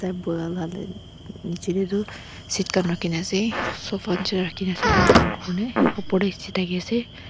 niche dey toh sit khan rakhikena ase sofa chair rakhikena ase dangor kurikena upor de sit rakhi ase.